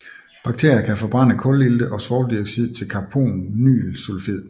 Bakterier kan forbrænde kulilte og svovldioxid til carbonylsulfid